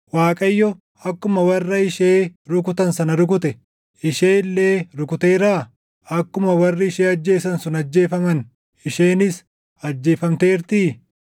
Waaqayyo akkuma warra ishee rukutan sana rukute, ishee illee rukuteeraa? Akkuma warri ishee ajjeesan sun ajjeefaman, isheenis ajjeefamteertii?